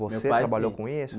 Meu pai sim Você trabalhou com isso?